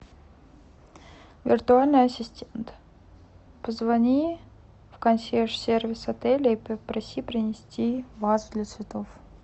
виртуальный ассистент позвони в консьерж сервис отеля и попроси принести вазу для цветов